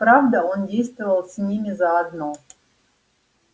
правда он действовал с ними заодно